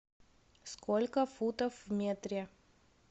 сколько футов в метре